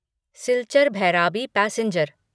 Silchar Bhairabi passenger